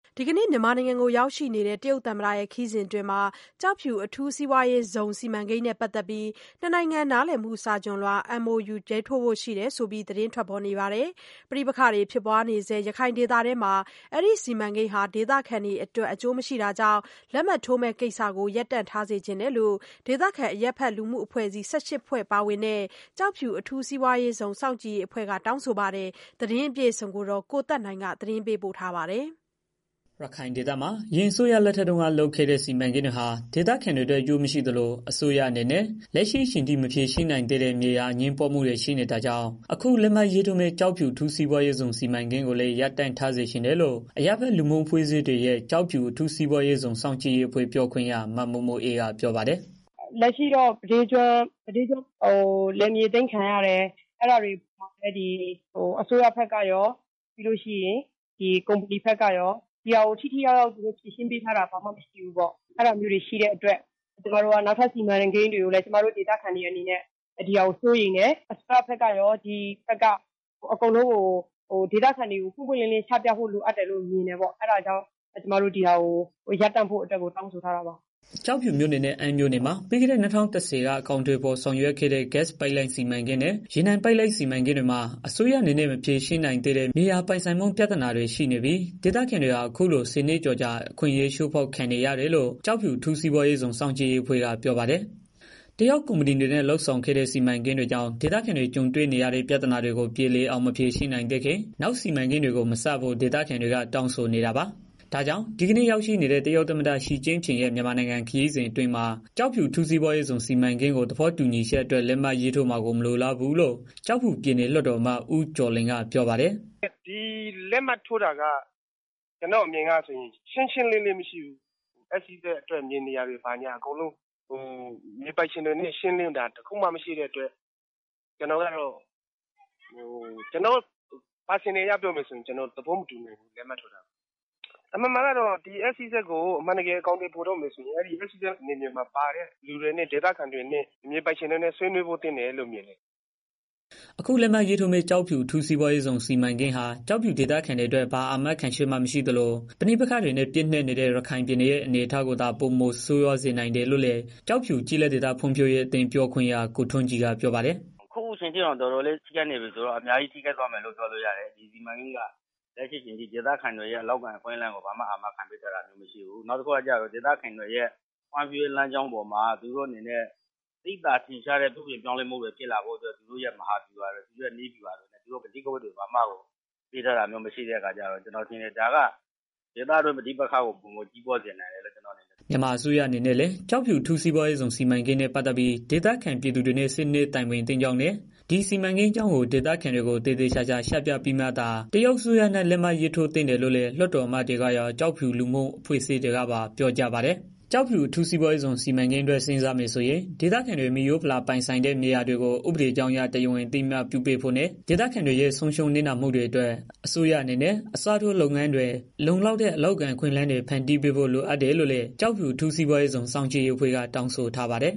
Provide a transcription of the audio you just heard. ဒီကနေ့ မြန်မာနိုင်ငံကို ရောက်ရှိနေတဲ့ တရုတ်သမ္မတ ခရီးစဉ်မှာ ကျောက်ဖြူ အထူးစီးပွါးရေးဇုံ စီမံကိန်းနဲ့ ပတ်သတ်ပြီး နှစ်နိုင်ငံ နားလည်မှု စာချွန်လွှာ MoU ရေးထိုးဖို့ ရှိတယ်ဆိုပြီး သတင်းထွက်ပေါ်နေတာပါ။ ပဋိပက္ခတွေ ဖြစ်ပွားနေတဲ့ ရခိုင်ဒေသမှာ အဲဒီစီမံကိန်းဟာ ဒေသခံတွေ အတွက် အကျိုးမရှိတာကြောင့် လက်မှတ်ထိုးမယ့် ကိစ္စကို ရပ်တန့်ထားစေချင်တယ်လို့ ဒေသခံ အရပ်ဖက် လူမှုအဖွဲ့အစည်း ၁၈ ဖွဲ့ ပါဝင်တဲ့ ကျောက်ဖြူအထူးစီးပွားရေးဇုန် စောင့်ကြည့်ရေးအဖွဲ့က တောင်းဆိုထားပါတယ်။ သတင်းအပြည့်အစုံကိုတော့ ဗွီအိုအေ သတင်းထောက် ကိုသက်နိုင်က မေးမြန်းထားပါတယ်။ ရခိုင်ဒေသမှာ အရင်အစိုးရလက်ထက်တုန်းက လုပ်ခဲ့တဲ့ စီမံကိန်းတွေဟာ ဒေသခံတွေအတွက် အကျိုးမရှိသလို အစိုးရအနေနဲ့ လက်ရှိအချိန်ထိ မဖြေရှင်းနိုင်သေးတဲ့ မြေယာအငြင်းပွားမှုတွေ ရှိနေတာကြောင့် အခုလက်မှတ် ရေးထိုးမယ့် ကျောက်ဖြူအထူးစီးပွားရေးဇုန် စီမံကိန်းကိုလည်း ရပ်တန့်ထားစေချင်တယ်လို့ အရပ်ဘက် လူမှုလူ့အဖွဲ့အစည်းတွေရဲ့ ကျောက်ဖြူ အထူးစီးပွားရေးဇုန် စောင့်ကြည့်ရေးအဖွဲ့ ပြောခွင့်ရ မ မို့မိုအေးက ပြောပါတယ်။ “လက်ရှိမှာတော့ မြဒေးကျွန်းမှာလယ်မြေအသိမ်းခံရတယ်။ အဲတာကို အစိုးရဘက်ကရော ကုပ္မဏီဘက်ကပါ ထိထိရောက်ရောက် ဖြေရှင်းပေးထားတာမရှိသေးဘူး။ အဲတာကြောင့် နောက်ထပ် စီမံကိန်းတွေမှာလည်း ဒီဟာတွေကို စိုးရိမ်တယ်။ လုပ်မယ်ဆိုရင် အစိုးရဘက်ကရော ကုပ္မဏီဘက်ကပါ စီမံကိန်းကို ပွင့်ပွင့်လင်းလင်း ချပြဖို့ လိုအပ်တယ်။ အဲတောကြောင့် အခုလက်မှတ်ထိုးမယ့် ကိစ္စကို ရပ်တန့်ဖို့ တောင်းဆိုထားတာပါ။” ကျောက်ဖြူမြို့နယ်နဲ့ အမ်းမြို့နယ်တွေမှာ ပြီးခဲ့တဲ့ ၂၀၁၀ ကအကောင်အထည်ဖော်ဆောင်ရွက်ခဲ့တဲ့ ဂစ် ပိုက်လိုင်းစီမံကိန်းနဲ့ ရေနံပိုက်လိုင်းစီမံကိန်းတွေမှ အစိုးရအနေနဲ့ မဖြေရှင်းနိုင်သေးတဲ့ မြေယာပိုင်ဆိုင်မှု ပြသာနာတွေနဲ့ ရှိနေပြီး ဒေသခံတွေဟာ အခုလို ၁၀ နှစ်ကျော်ကြာ အခွင့်အရေး ချိုးဖောက်ခံနေရတယ်လို့ ကျောက်ဖြူ အထူးစီးပွားရေးဇုန် စောင့်ကြည့်ရေးအဖွဲ့က ပြောပါတယ်။ တရုတ် ကုမ္ပဏီတွေနဲ့ လုပ်ဆောင်ခဲ့တဲ့ စီမံကိန်းကြီးတွေကြောင့် ဒေသခံတွေ ကြုံနေရတဲ့ ပြဿနာတွေကို ပြေလည် အောင် ဖြေရှင်း မပေး နိုင်သေးခင် နောက် စီမံကိန်းတွေကို မစဖို့ ဒေသခံတွေက တောင်းဆိုနေတာပါ။ ဒါကြောင့် ဒီကနေ့ ရောက်ရှိနေတဲ့ တရုတ်သမ္မတ ချီကျင့်ဖျင်ရဲ့ မြန်မာနိုင်ငံခရီစဉ်အတွင်း ကျောက်ဖြူ အထူးစီးပွားရေးဇုံ စီမံကိန်း သဘောတူညီချက် အတွက် လက်မှတ်ရေးမှာကို မလိုလားဘူးလို့ ကျောက်ဖြုူ ပြည်နယ် လွတ်တော်အမတ် ဦးကျော်လွင် ကပြော ပါတယ်။ “ဒီလက်မှတ်ထိုးတာက ကျနော့်အမြင်ကို ပြောရရင် ရှင်းရှင်းလင်းလင်းမရှိဘူး။ SEZ အတွက် မြေနေရာ တွေကို မြေပိုင်းရှင်တွေနဲ့ ရှင်းလင်းတာ တစ်ခုမှမရှိတဲ့အတွက် ကျနော့် တစ်ဦးတည် ပြောရမယ် ဆိုရင် ကျနော်သဘော မတူနိုင်ဘူး။ လက်မှတ်ထိုးတာကို။ အမှန်တကယ်တော့ SEZကို အမှန်တကယ် အကောင်အထည် ဖော်တော့မယ် ဆိုရင် အထူးစီးပွားရေးဇုန် စီမံကိန်းမှာ ပါတဲ့ သူတွေနဲ့ တွေ့ဆုံဆွေးနွေးဖို့လိုတယ်လို့ မြင်တယ်။” အခုလက်မှတ်ရေးထိုးမယ့် ကျော်ဖြူ အထူးစီးပွားရေးဇုံ စီးမံကိန်းဟာ ကျောက်ဖြူဒေသခံတွေအတွက် ဘာအာမခံချက်မှ မရှိသလို ပဋိပက္ခတွေနဲ့ ပြည့်နက်နေနဲ့ ရခိုင်ပြည်နယ်ရဲ့ အခြေအနေကိုသား ပိုမိုဆိုးရွားစေနိုင်တယ်လို့လည်း ကျောက်ဖြူကျေးလက်ဒေသ ဖွံံ့ဖြိုးအသင်း ပြောခွင့်ရာ ကိုထွန်းကြည် ကပြောပါတယ်။ “အခုတောင် အဲလောက်ပျက်စီးနေတာ အခုလာမယ့် စီမံကိန်းကလည်း ဒေသခံတွေအတွက် အလုပ်အကိုင်အခွင့်အလမ်း ဘာမှ အာမခံပေးထားတာမရှိဘူး။ နောက်ပြီးတော့ ဒေသခံတွေအတွက် သိသာထင်ရှားတဲ့ ပြောင်းလဲ မှုတွေ ဖြစ်လာဖို့အတွက် သူတို့နည်းဗျုဟာ မဟာ ဗျူဟာတွေကို ချပြထားတာမရှိတော့ ကျနော်ထင်တယ် ဒါက ပဋိပက္ခကို ပိုပြီးတော့ ကြီးထွားစေမယ်လို့ ထင်တယ်။” မြန်မာအစိုးရအနေနဲ့ လည်း ကျောက်ဖြူအထူးစီးပွါးရေးဇုံ စီမံကိန်းနဲ့ ပတ်သတ်ပြီး ဒေသခံပြည်သူတွေနဲ့ ဆွေးနွေးတိုင်ပင်သင့် ကြောင်းနဲ့ ဒီ စီမံကိန်းအကြောင်းကို ဒေသခံတွေကို သေသေချာချာ ချပြပြီးမှသာ တရုတ် အစိုးရနဲ့ လက်မှတ်ထိုးသင့် တယ်လို့လည်း လွတ်တော်အမတ်တွေကရော့ ကျောက်ဖြူလူမှု အဖွဲ့အစည်းတွေက ပါ ပြောကြပါတယ်။ ကျောက်ဖြူ အထူး စီးပွါးရေးဇုံ အတွက် စဉ်းစားမယ် ဆိုရင် ဒေသခံတွေ မိရိုးဖလာ ပိုင်ဆိုင်တဲ့ မြေယာတွေကို ဥပဒေကြောင်းအရ တရားဝင် အသိအမှတ်ပြုပေးဖို့နဲ့ ဒေသခံတွေရဲ့ ဆုံးရှုံးနစ်နာမှုတွေအတွက် အစိုးရအနေနဲ့ အစားထိုးလုပ်ငန်းတွေ လုံလောက်တဲ့ အလုပ်အကိုင်အခွင့် အလမ်းတွေ ဖန်တီးပေးဖို့ လိုအပ်တယ်လို့လည်း ကျောက်ဖြူအထူးစီးပွားရေးဇုန် စောင့်ကြည့်ရေးအဖွဲ့က တောင်းဆိုထားပါတယ်။